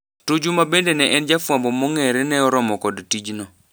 Tuju ma bende ne en jafwambo mongere neoromo kod tijno.